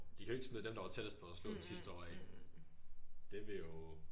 De kan jo ikke smide dem der var tættest på at slå dem sidste år af